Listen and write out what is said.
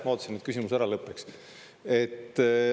Ma ootasin, et küsimus ära lõpeks.